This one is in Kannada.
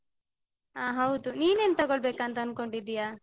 ಅಹ್ ಹೌದು. ನೀನ್ ಏನ್ ತೊಗೊಳ್ಬೇಕು ಅಂತ ಅನ್ಕೊಂಡಿದಿಯಾ?